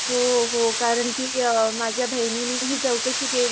हो हो कारण कि माझ्या बहिणीनेही चौकशी केली,